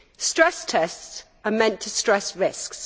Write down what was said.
Stress tests are meant to stress risks.